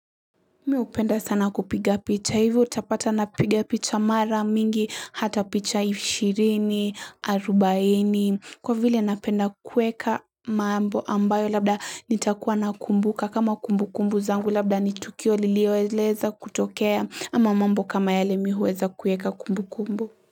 Mi hupenda sana kupiga picha. Hivo utapata napiga picha mara mingi hata picha 20, 40 kwa vile napenda kueka mambo ambayo labda nitakuwa nakumbuka kama kumbukumbu zangu labda ni tukio lililoeleza kutokea ama mambo kama yale mi huweza kuweka kumbukumbu.